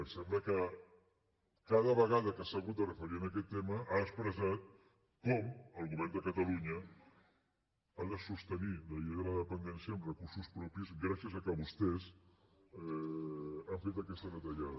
em sembla que cada vegada que s’ha hagut de referir a aquest tema ha expressat com el govern de catalunya ha de sostenir la llei de la dependència amb recursos propis gràcies al fet que vostès han fet aquesta retallada